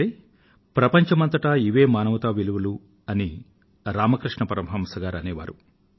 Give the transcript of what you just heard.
అంటే ప్రపంచం అంతటా ఇవే మానవతా విలువలు అని రామకృష్ణ పరమహంస గారు అనే వారు